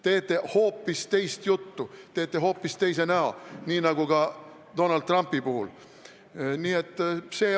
Siis te teete hoopist teist juttu, teete hoopis teise näo, nii nagu tegite Donald Trumpi puhul.